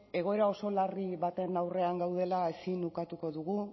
egoera oso larri baten aurrean gaudela ezin ukatuko dugu